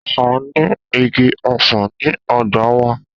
A ní ìgí õsàn ní õgbá wa